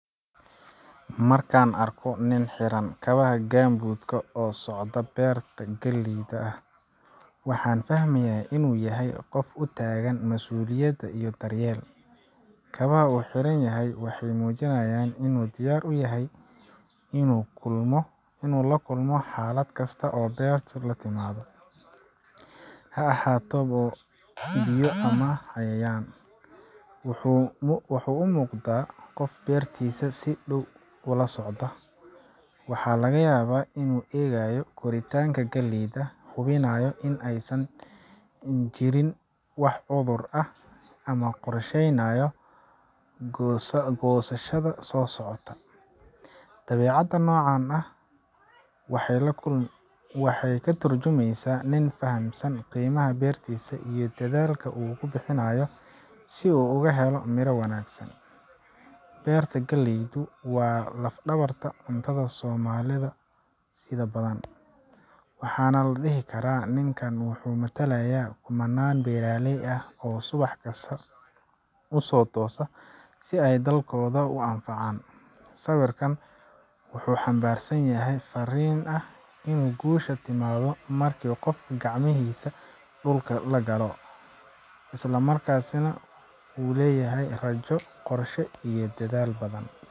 Marka aan arko nin xiran kabaha [csgumboot ka oo dhex socda beer galley ah, waxaan fahmayaa in uu yahay qof u taagan masuuliyad iyo daryeel. Kabaha uu xiran yahay waxay muujinayaan in uu diyaar u yahay inuu la kulmo xaalad kasta oo beertu la timaado ha ahaato dhoobo, biyo ama cayayaan. Wuxuu u muuqdaa qof beertiisa si dhow ula socda waxaa laga yaabaa inuu eegayo koritaanka galleyda, hubinayo in aysan jirin wax cudur ah ama uu qorsheynayo goosashada soo socota. Dabeecadda noocan ah waxay ka turjumaysaa nin fahamsan qiimaha beertiisa iyo dadaalka uu ku bixinayo si uu uga helo miro wanaagsan. Beerta galleydu waa laf-dhabarta cuntada Soomaali badan, waxaana la dhihi karaa ninkan wuxuu matalayaa kumannaan beeraley ah oo subax kasta u toosa si ay dalkooda u anfacaan. Sawirkan wuxuu xambaarsan yahay fariin ah in guushu timaado marka qofku gacmihiisa dhulka la galo, islamarkaana uu leeyahay rajo, qorshe iyo dadaal.